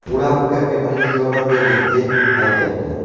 Ular ukamga birinchi yordam berdik, deb aytyapti.